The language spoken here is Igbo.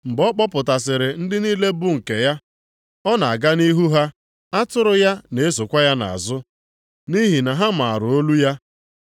Mgbe ọ kpọpụtasịrị ndị niile bụ nke ya, ọ na-aga nʼihu ha. Atụrụ ya na-esokwa ya nʼazụ nʼihi na ha maara olu ya.